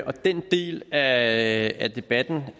og den del af debatten